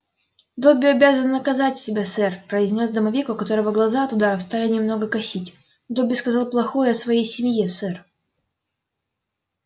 добби обязан наказать себя сэр произнёс домовик у которого глаза от ударов стали немного косить добби сказал плохое о своей семье сэр